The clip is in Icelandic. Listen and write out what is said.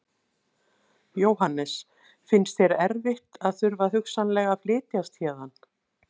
Jóhannes: Finnst þér erfitt að þurfa hugsanlega að flytjast héðan?